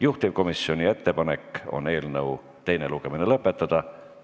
Juhtivkomisjoni ettepanek on eelnõu teine lugemine lõpetada.